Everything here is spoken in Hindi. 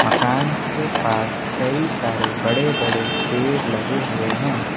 मकान के पास कई सारे बड़े बड़े पेड़ लगे हुए हैं।